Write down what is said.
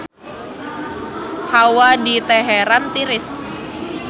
Hawa di Teheran tiris